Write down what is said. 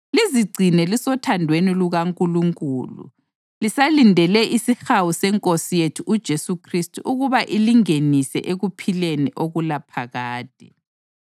lizigcine lisothandweni lukaNkulunkulu lisalindele isihawu seNkosi yethu uJesu Khristu ukuba ilingenise ekuphileni okulaphakade.